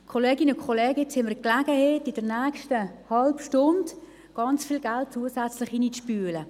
Kolleginnen und Kollegen, jetzt bietet sich uns die Gelegenheit, in der nächsten halben Stunde, ganz viel Geld zusätzlich hineinzuspülen.